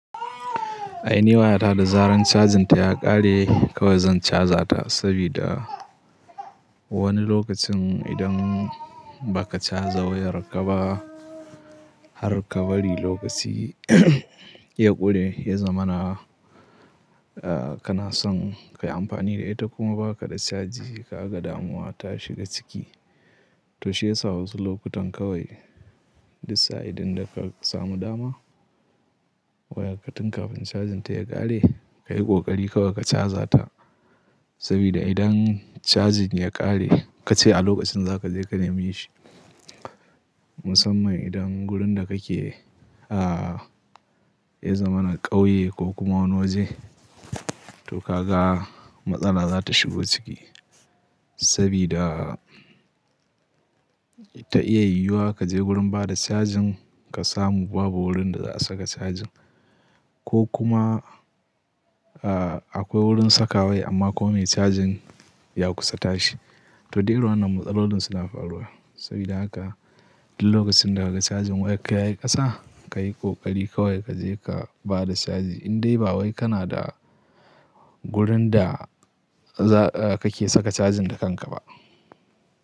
Ai ni waya ta da zarar cajin ta ya ƙare kawai zan caza ta sabida wani lokacin idan baka caza wayarka ba har ka bari lokaci ya ƙure, ya zama na a kanason kayi amfani da ita kuma ba ka da caji, ka ga damuwa ta shiga ciki. To shi yasa wasu lokutan kawai duk sa'ilin da ka samu dama wayar ka tun kafin cajin ta ya ƙare kayi ƙoƙari kawai ka caza ta. Sabida idan cajin ya ƙare ka ce a lokacin zaka je ka neme shi. Musamman idan wurin da kake a ya zama na ƙauye ko kuma wani waje, to ka ga matsala za ta shigo ciki. Sabida ta iya yiwuwa kaje gurin bada cajin ka samu babu wurin da za a saka cajin ko kuma a akwai wurin saka wai amma kuma me cajin ya kusa tashi. To duk irin wannan matsalolin suna faruwa. Sabida haka duk lokacin da kaga cajin wayarka yayi ƙasa kayi ƙoƙari kawai kaje ka bada caji. Indai ba wai kana da wurin da za kake saka cajin da kanka ba.